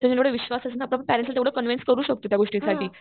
विश्वास असणं आपण पॅरेंट्सला तेव्हडा कॉन्व्हेन्स करू शकतो त्या गोष्टीसाठी.